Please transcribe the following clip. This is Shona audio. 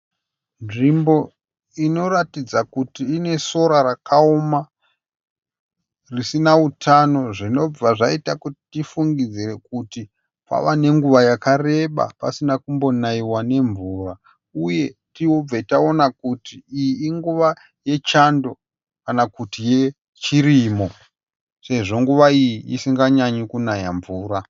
Nzvimbo inoratidza kuti inesora rakaoma, risina utano zvinobva zvaita kuti tifungidzire kuti pava nenguva pakareba pasina kumbonaiwa nemvura uye tibve taona kuti iyi inguva yechando kana kuti nguva yechirimo sezvo nguva iyi isinganyanyi kunaya mvura.